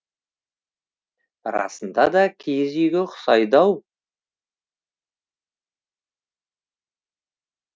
расында да киіз үйге ұқсайды ау